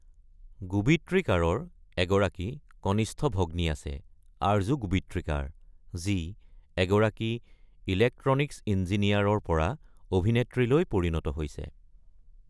গোবিত্ৰিকাৰৰ এগৰাকী কনিষ্ঠ ভগ্নী আছে, আৰ্জু গোবিত্ৰিকাৰ, যি এগৰাকী ইলেক্ট্ৰনিকছ ইঞ্জিনিয়াৰৰ পৰা অভিনেত্ৰীলৈ পৰিণত হৈছে।